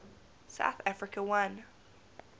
south africa won